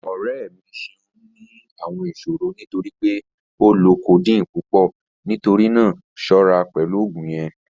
Ọrẹ mi ṣẹun ni awọn iṣòrọ̀ nítorí pé ó lọ codeine pupọ̀, nítorí náà ṣọra pẹ̀lú ogun yẹn